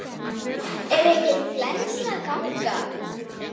Er einhver flensa að ganga?